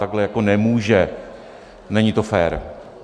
Takhle jako nemůže, není to fér.